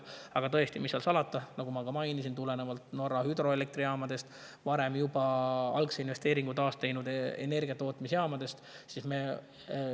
Aga tõesti, mis seal salata, nagu ma ka mainisin, tulenevalt Norra hüdroelektrijaamadest ja muudest energiatootmise jaamadest, mis on juba varem algse investeeringu.